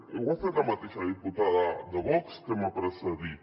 ho ha fet la mateixa diputada de vox que m’ha precedit